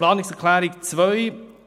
Zur Planungserklärung 2: